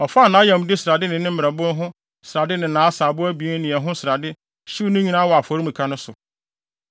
Ɔfaa nʼayamde ho srade ne ne mmerɛbo ho srade ne nʼasaabo abien no ne ɛho srade hyew ne nyinaa wɔ afɔremuka no so.